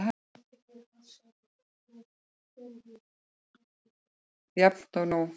Jafn og nú.